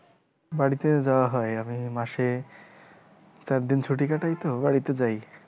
বাড়িতে যাওয়া হয়, আমি মাসে চারদিন ছুটি কাটায় তো বাড়িতে যায়